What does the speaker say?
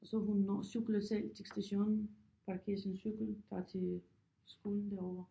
Så hun når cykler selv til stationen parkerer sin cykel tager til skolen derovre